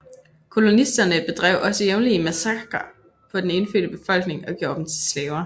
Kolonisterne bedrev også jævnlige massakrer på den indfødte befolkning og gjorde dem til slaver